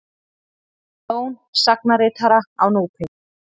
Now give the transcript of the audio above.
Jón sagnaritara á Núpi.